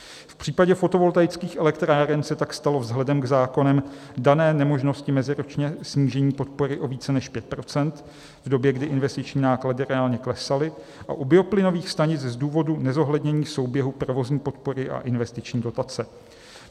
V případě fotovoltaických elektráren se tak stalo vzhledem k zákonem dané nemožnosti meziročně snížení podpory o více než 5 %, v době, kdy investiční náklady reálně klesaly, a u bioplynových stanic z důvodu nezohlednění souběhu provozní podpory a investiční dotace.